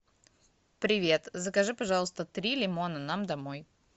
привет закажи пожалуйста три лимона нам домой